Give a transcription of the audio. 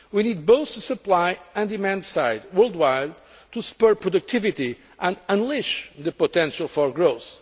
We need both the supply and demand side, worldwide, to spur productivity and unleash the potential for growth.